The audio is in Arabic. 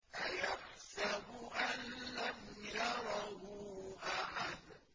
أَيَحْسَبُ أَن لَّمْ يَرَهُ أَحَدٌ